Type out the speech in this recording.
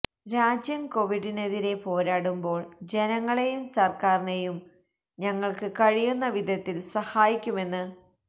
രാജ്യം കൊവിഡിനെതിരെ പോരാടുമ്പോൾ ജനങ്ങളേയും സർക്കാരിനേയും ഞങ്ങൾക്ക് കഴിയുന്ന വിധത്തിൽ സഹായിക്കുമെന്ന്